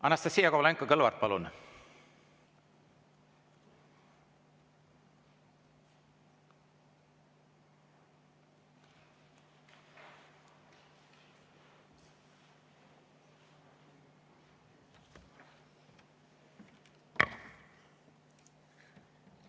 Anastassia Kovalenko-Kõlvart, palun!